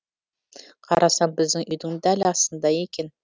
қарасам біздің үйдің дәл астында екен